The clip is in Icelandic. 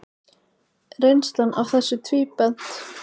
Reynslan af þessu tvíbent.